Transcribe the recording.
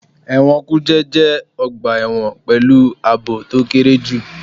Ẹ̀wọ̀n kùjé jẹ́ ọgbà ẹ̀wọ̀n pẹ̀lú àbò to kéré jù.